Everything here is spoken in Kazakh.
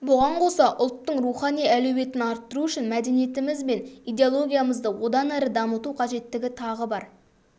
бұған қоса ұлттың рухани әлеуетін арттыру үшін мәдениетіміз бен идеологиямызды одан әрі дамыту қажеттігі тағы бар